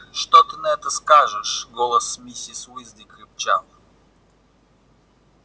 что ты на это скажешь голос миссис уизли крепчал